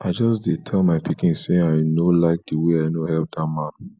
i just dey tell my pikin say i no like the way i no help dat man